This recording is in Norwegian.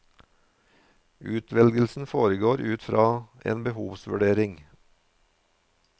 Utvelgelsen foregår ut fra en behovsvurdering.